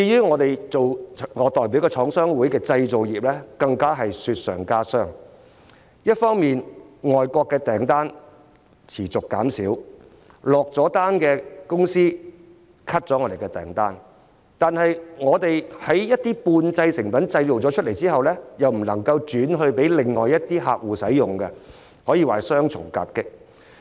我代表的廠商會所屬的製造業，更是雪上加霜，一方面外國訂單持續減少，已下訂單的公司取消訂單，但是半製成品完成後又不能轉售給其他客戶使用，可說是雙重夾擊。